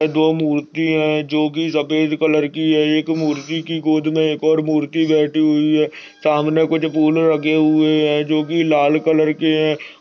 दो मूर्ति है जोकि सफेद कलर की है एक मूर्ति की गोद में एक और मूर्ति बैठी हुई है सामने कुछ फूल रखे है जोकि लाल कलर के हैं।